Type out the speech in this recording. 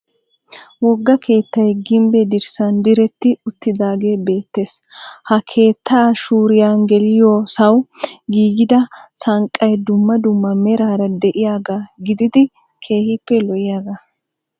Wogga keettay gimbbe dirssan diretti uttidaagee beettees. Ha keettaa shuriya geliyosawu giigida sanqqay dumma dumma meraara de'iyagaa gididi keehippe lo"iyagaa.